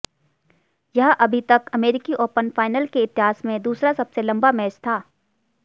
यह अभी तक अमेरिकी ओपन फाइनल के इतिहास में दूसरा सबसे लंबा मैच था